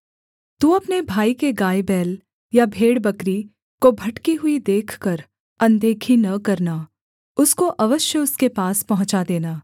तू अपने भाई के गायबैल या भेड़बकरी को भटकी हुई देखकर अनदेखी न करना उसको अवश्य उसके पास पहुँचा देना